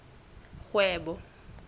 kgwebo